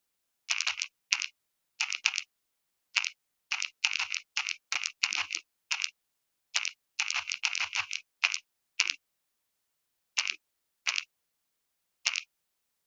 O neetswe tumalanô ya go tsaya loetô la go ya kwa China.